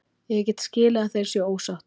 Ég get skilið að þeir séu ósáttir.